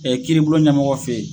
kiiribulon ɲɛmɔgɔw fɛ yen